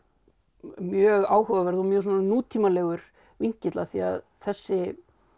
mjög áhugaverð og mjög svona nútímalegur vinkill af því að þessi